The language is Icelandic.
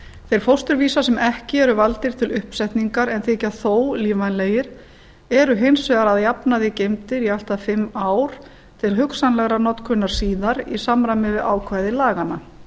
þeir fósturvísar sem ekki eru valdir til uppsetningar en þykja þó lífvænlegir eru hins vegar að jafnaði geymdir í allt að fimm ár til hugsanlegrar notkunar síðar í samræmi við ákvæði laganna